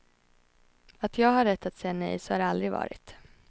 Att jag har rätt att säga nej, så har det aldrig varit.